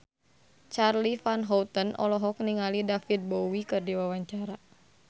Charly Van Houten olohok ningali David Bowie keur diwawancara